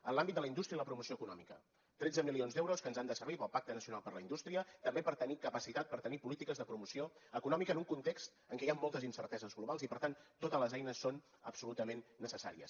en l’àmbit de la indústria i la promoció econòmica tretze milions d’euros que ens han de servir per al pacte nacional per a la indústria també per tenir capacitat per tenir polítiques de promoció econòmica en un context en què hi han moltes incerteses globals i per tant totes les eines són absolutament necessàries